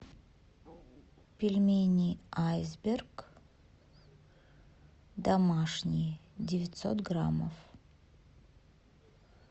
пельмени айсберг домашние девятьсот граммов